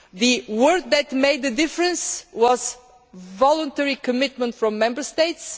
The words that made a difference were voluntary commitment from Member States'.